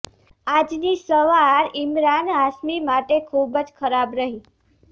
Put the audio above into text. આજની સવાર ઇમરાન હાશ્મી માટે ખુબ જ ખરાબ રહી